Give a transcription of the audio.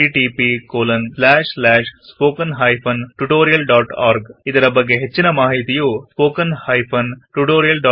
ಈ ಮಿಶನ್ ನ ಬಗ್ಗೆ ಹೆಚ್ಚಿನ ಮಾಹಿತಿಗೆ ಇಲ್ಲಿ ಹೋಗಬಹುದು httpspoken tutorialorgNMEICT Intro